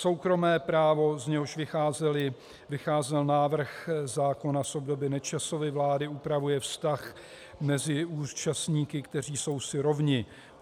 Soukromé právo, z něhož vycházel návrh zákona z doby Nečasovy vlády, upravuje vztah mezi účastníky, kteří jsou si rovni.